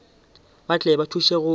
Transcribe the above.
ba tle ba thuše go